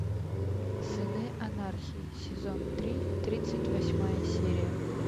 сыны анархии сезон три тридцать восьмая серия